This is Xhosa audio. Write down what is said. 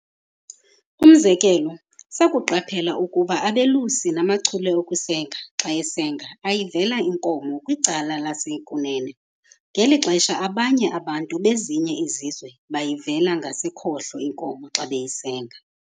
Umzekelo sakuqaphela ukuba ambelusi namachule okusenga xa esenga ayivela inkomo kwicala lasekunene, ngeli xesha abanye abantu bezinye izizwe beyivela ngasekhohlo inkomo xa beyisenga.